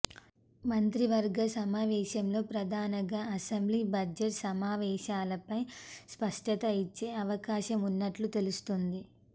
మంత్రివర్గ సమావేశంలో ప్రధానగా అసెంబ్లీ బడ్జెట్ సమావేశాలపై స్పష్టత ఇచ్చే అవకాశం ఉన్నట్లు తెలుస్తోంది